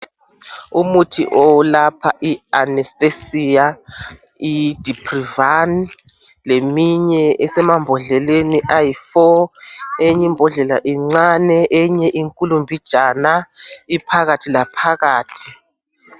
Umuthi olapha I anesthesia iyi diprivan leminye esemambhodleleni amane eyinye imbhondlela incane eyinye inkulu mbijana iphakathi laphakathi